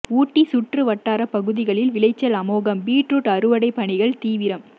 ஊட்டி சுற்று வட்டார பகுதிகளில் விளைச்சல் அமோகம் பீட்ரூட் அறுவடை பணிகள் தீவிரம்